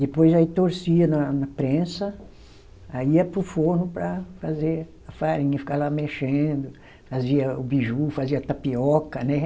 Depois aí torcia na na prensa, aí ia para o forno para fazer a farinha, ficava lá mexendo, fazia o biju, fazia tapioca, né?